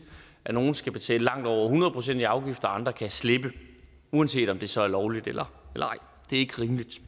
at nogle skal betale langt over hundrede procent i afgifter og andre kan slippe uanset om det så er lovligt eller ej det er ikke rimeligt